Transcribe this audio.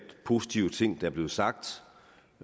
positive ting der er blevet sagt